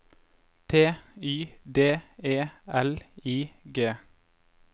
T Y D E L I G